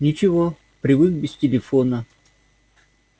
ничего привык без телефона